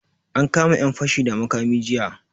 An kama yan fashi da makami jiya.